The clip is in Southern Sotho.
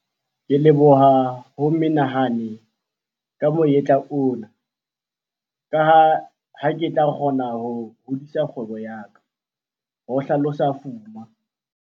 "Ke leboha ho menehane ka monyetla ona, ka ha ke tla kgona ho hodisa kgwebo ya ka," ho hlalosa Fuma.